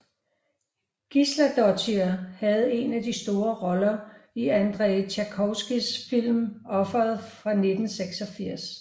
Gísladóttir havde en af de store roller i Andrej Tarkovskijs film Offeret fra 1986